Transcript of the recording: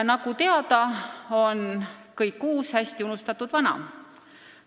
Nagu teada, on kõik uus hästi unustatud vana.